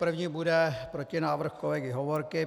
První bude protinávrh kolegy Hovorky.